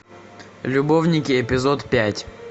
любовники эпизод пять